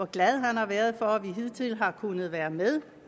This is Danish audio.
glad han har været for at vi hidtil har kunnet være med